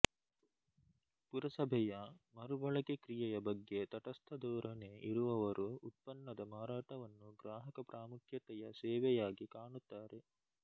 ಪುರಸಭೆಯ ಮರುಬಳಕೆ ಕ್ರಿಯೆಯ ಬಗ್ಗೆ ತಟಸ್ಥಧೋರಣೆ ಇರುವವರು ಉತ್ಪನ್ನದ ಮಾರಾಟವನ್ನು ಗ್ರಾಹಕಪ್ರಾಮುಖ್ಯತೆಯ ಸೇವೆಯಾಗಿ ಕಾಣುತ್ತಾರೆ